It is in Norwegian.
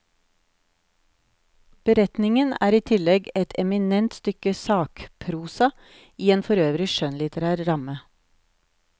Beretningen er i tillegg et eminent stykke sakprosa i en forøvrig skjønnlitterær ramme.